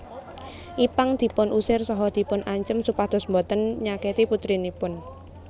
Ipank dipun usir saha dipun ancem supados boten nyaketi putrinipun